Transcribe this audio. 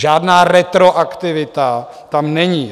Žádná retroaktivita tam není.